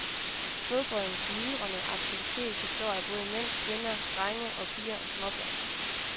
Flodbreddens myldrende aktivitet består af både mænd, kvinder, drenge og piger og småbørn.